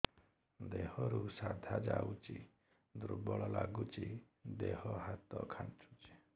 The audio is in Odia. ଦେହରୁ ସାଧା ଯାଉଚି ଦୁର୍ବଳ ଲାଗୁଚି ଦେହ ହାତ ଖାନ୍ଚୁଚି